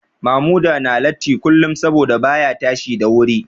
Mamuda na latti kullum saboda baya tashi da wuri